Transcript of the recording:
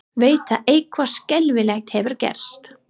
Veit að eitthvað skelfilegt hefur gerst.